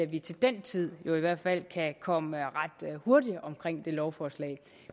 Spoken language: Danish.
vi til den tid kan komme ret hurtigt omkring det lovforslag